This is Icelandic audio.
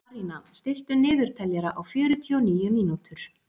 Arína, stilltu niðurteljara á fjörutíu og níu mínútur.